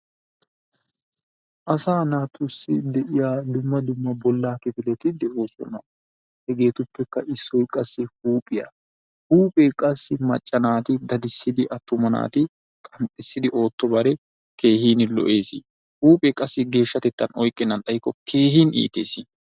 Asaa naatussi de'iyaa dumma dumma boollaa kipileti de'oosona hegeetupekka issoy qassi huuphiyaa. Huuphee qassi macca naati dadissidi attuma naati qanxxissidi oottobare keehini lo'ees. Huuphee qassi geeshshatettan oyqqenan xayikko keehin iites.